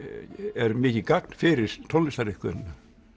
er mikið gagn fyrir tónlistariðkunina